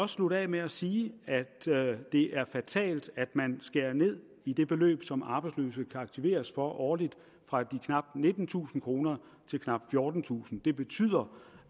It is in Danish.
slutte af med at sige at det er fatalt at man skærer ned i det beløb som arbejdsløse kan aktiveres for årligt fra knap nittentusind kroner til knap fjortentusind kroner det betyder